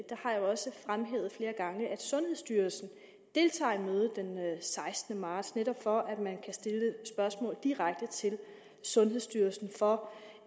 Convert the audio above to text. sundhedsstyrelsen deltager i mødet den sekstende marts netop for at man kan stille spørgsmål direkte til sundhedsstyrelsen for